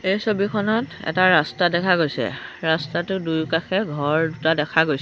এই ছবিখনত এটা ৰাস্তা দেখা গৈছে ৰাস্তাটোৰ দুয়োকাষে ঘৰ দুটা দেখা গৈছে।